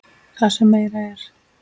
Það sem meira er.